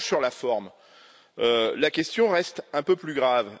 En revanche, sur la forme, la question reste un peu plus grave.